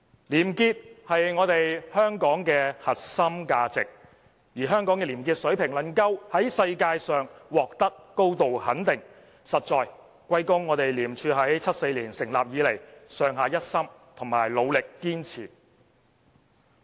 廉潔是香港的核心價值，而香港的廉潔水平能夠在世界上獲得高度肯定，實應歸功於廉署自1974年成立以來，上下一心和努力堅持。